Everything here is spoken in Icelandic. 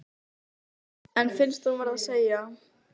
En finnst hún verða að segja: